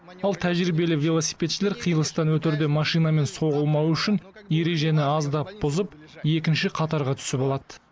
ал тәжірибелі велосипедшілер қиылыстан өтерде машинамен соғылмауы үшін ережені аздап бұзып екінші қатарға түсіп алады